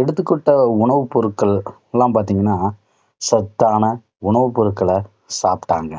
எடுத்துக்கிட்ட உணவுப் பொருட்கள் எல்லாம் பார்த்தீங்கன்னா, சத்தான உணவு பொருட்களை சாப்பிட்டாங்க.